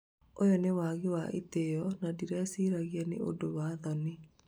ũyũ nĩ wagi wa itĩo na ndirĩciragia nĩ ũndũ wa thoni